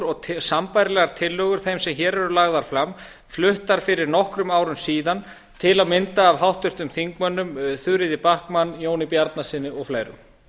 og sambærilegar tillögur þeim sem hér eru lagðar fram fluttar fyrir nokkrum árum síðan til að mynda af háttvirtum þingmönnum þuríði backman jóni bjarnasyni og fleirum